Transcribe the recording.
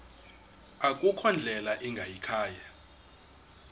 akukho ndlela ingayikhaya